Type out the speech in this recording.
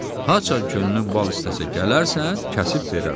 Haçan könlün bal istəsə gələrsən, kəsib verərəm.